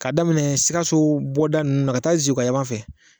K'a daminɛ sikaso bɔda nunnu na ka taa zeguwa yanfan fɛ